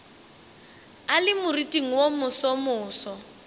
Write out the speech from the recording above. a le moriting wo mosomoso